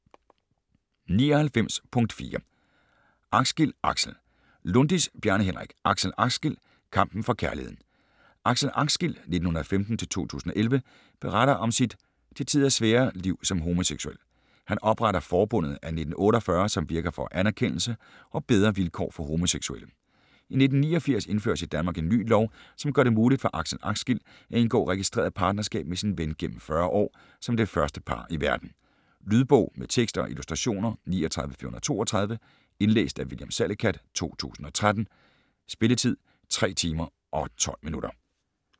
99.4 Axgil, Axel Lundis, Bjarne Henrik: Axel Axgil: kampen for kærligheden Axel Axgil (1915-2011) beretter om sit, til tider svære, liv som homoseksuel. Han opretter Forbundet af 1948, som virker for anerkendelse og bedre vilkår for homoseksuelle. I 1989 indføres i Danmark en ny lov, som gør det muligt for Axel Axgil at indgå registreret partnerskab med sin ven gennem 40 år, som det første par i verden. Lydbog med tekst og illustrationer 39432 Indlæst af William Salicath, 2013. Spilletid: 3 timer, 12 minutter.